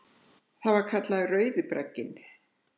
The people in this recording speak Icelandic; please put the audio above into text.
Það var kallað Rauði bragginn.